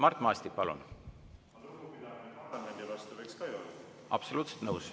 Absoluutselt nõus!